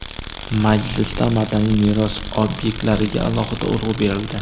Majlisda madaniy meros obyektlariga alohida urg‘u berildi.